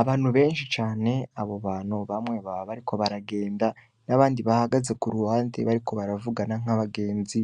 Abantu benshi cane , abo bantu bamwe baba bariko baragenda n'abandi bahagaze kuruhande bariko baravugana nkabagenzi ,